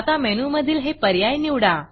आता मेनूमधील हे पर्याय निवडा